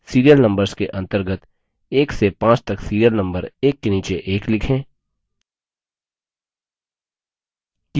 serial numbers के अंतर्गत 1 से 5 तक serial number एक के नीचे एक लिखें